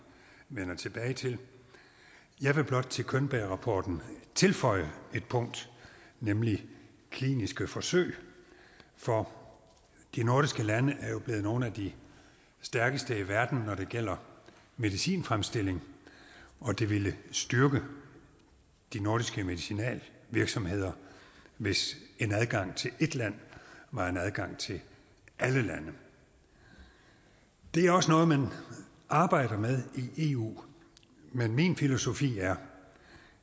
vender tilbage til jeg vil blot til könbergrapporten tilføje et punkt nemlig kliniske forsøg for de nordiske lande er jo blevet nogle af de stærkeste i verden når det gælder medicinfremstilling og det ville styrke de nordiske medicinalvirksomheder hvis en adgang til ét land var en adgang til alle lande det er også noget man arbejder med i eu men min filosofi er